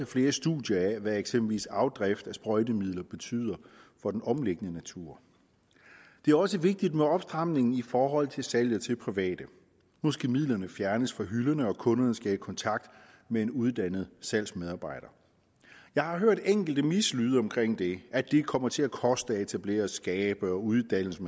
flere studier af hvad eksempelvis afdrift af sprøjtemidler betyder for den omliggende natur det er også vigtigt med opstramningen i forhold til salget til private nu skal midlerne fjernes fra hylderne og kunderne skal i kontakt med en uddannet salgsmedarbejder jeg har hørt enkelte mislyde omkring det at det kommer til at koste at etablere skabe og uddannelse